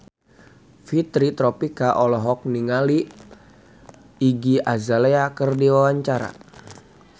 Fitri Tropika olohok ningali Iggy Azalea keur diwawancara